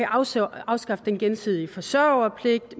afskaffe afskaffe den gensidige forsørgerpligt